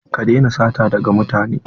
Ka daina sata daga mutane!